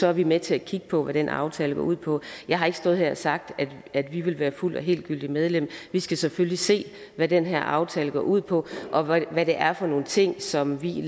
er vi med til at kigge på hvad den aftale går ud på jeg har ikke stået her og sagt at vi vil være helt og fuldgyldigt medlem vi skal selvfølgelig se hvad den her aftale går ud på og hvad det er for nogle ting som vi